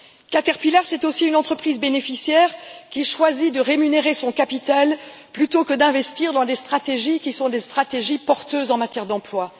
Caterpillar, c'est aussi une entreprise bénéficiaire, qui choisit de rémunérer son capital plutôt que d'investir dans des stratégies porteuses en matière d'emploi.